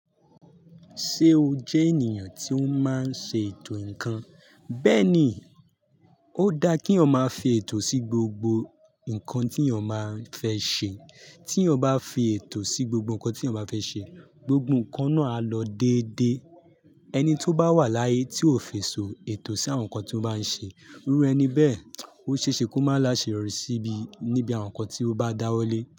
Ṣé o jẹ́ ènìyàn tí ó máa ń ṣe ètò ǹkan? Bẹ́ẹ̀ ni, ó dá kí ọ máa fi ètò sí gbogbo ǹkan tí yan máa n fẹ́ ṣe. Tí yan bá fi ètò sí gbogbo ǹkan tí yan bá fẹ́ ṣe, gbogbo ǹkan náà á lọ dédé. Ẹni tí ó bá wà láyé tí ò fèsì ètò sí àwọn ǹkan tí ó bá ń ṣe, irú ẹni bẹ́ẹ̀, ó ṣe é ṣe kó má ṣe rọrùn síi níbi àwọn ǹkan tí ó bá dáwọ́lé.